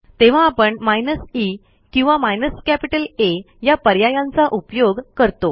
तेव्हा आपण minus E किंवा माइनस कॅपिटल आ या पर्यायांचा उपयोग करतो